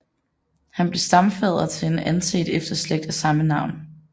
Han blev stamfader til en anset efterslægt af samme navn